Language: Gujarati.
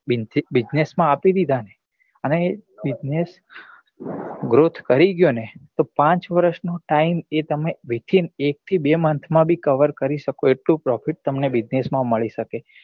bussiness માં આપી દીધા ને અને એ business growth કરી ગયો ને તો પાંચ વર્ષ નો time એ તમે within એક થી બે month માં બી cover કરી શકો એટલું profit તમને business માં મળી સકે